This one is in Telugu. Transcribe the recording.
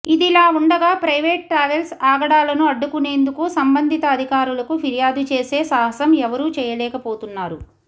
ఇదిలా ఉండగా ప్రైవేట్ ట్రావెల్స్ ఆగడాలను అడ్డుకునేందుకు సంబంధిత అధికారులకు ఫిర్యాదు చేసే సాహసం ఎవరు చేయలేకపోతున్నారు